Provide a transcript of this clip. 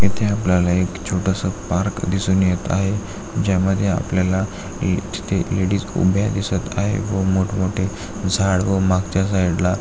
इथे आपल्याला एक छोटस पार्क दिसून येत आहे ज्या मध्ये आपल्याला एक स्टे लेडिज उभ्या दिसत आहेत व मोठ मोठे झाड आहेत साइडला .